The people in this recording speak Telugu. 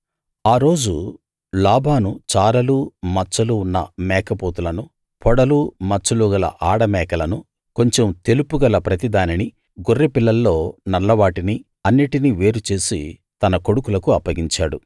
ఆ రోజు లాబాను చారలూ మచ్చలూ ఉన్న మేకపోతులనూ పొడలూ మచ్చలూ గల ఆడ మేకలనూ కొంచెం తెలుపు గల ప్రతిదానినీ గొర్రెపిల్లల్లో నల్లవాటినీ అన్నిటినీ వేరుచేసి తన కొడుకులకు అప్పగించాడు